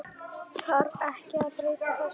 Þarf ekki að breyta þessu?